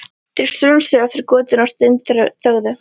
Þeir strunsuðu eftir götunni og steinþögðu.